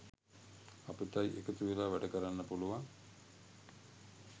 අපිටයි එකතු වෙලා වැඩකරන්න පුළුවන්.